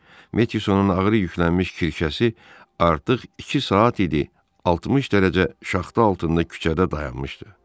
Metsonun ağır yüklənmiş kirşəsi artıq iki saat idi 60 dərəcə şaxta altında küçədə dayanıb.